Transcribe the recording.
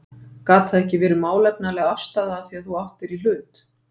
Gat það ekki verið málefnaleg afstaða af því að þú áttir í hlut?